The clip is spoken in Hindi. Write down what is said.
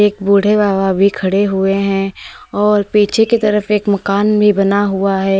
बुढ़े बाबा भी खड़े हुए हैं और पीछे की तरफ एक मकान भी बना हुआ है।